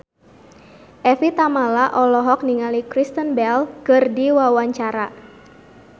Evie Tamala olohok ningali Kristen Bell keur diwawancara